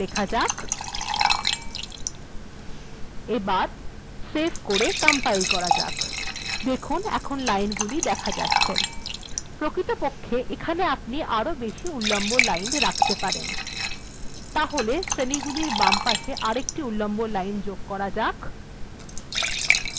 সেটিকে লেখা যাক এবার সেভ করে কম্পাইল্ করা যাক এখন এগুলি দেখা যাচ্ছে প্রকৃতপক্ষে আপনি আরো বেশি উল্লম্ব লাইন রাখা যেতে পারেন এখানে শ্রেণীগুলির বামদিকে আরো একটি উল্লম্ব লাইন রাখা যাক